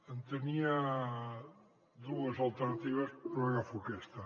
en tenia dues alternatives però agafo aquesta